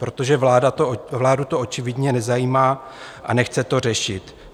Protože vládu to očividně nezajímá a nechce to řešit.